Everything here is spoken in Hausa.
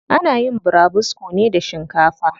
Ana yin burabusko ne da shinkafa.